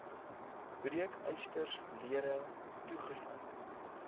breekysters lere toegesluit